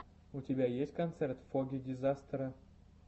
у тебя есть концерт фогги дизастера